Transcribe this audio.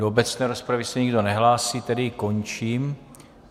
Do obecné rozpravy se nikdo nehlásí, tedy ji končím.